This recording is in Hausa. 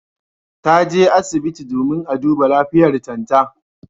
Ta je asibiti domin a duba lafiyartan ta.